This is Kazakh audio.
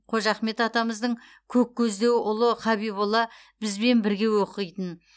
қожа ахмет атамыздың көк көздеу ұлы хабиболла бізбен бірге оқитын